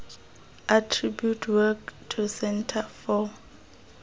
attribute work to centre for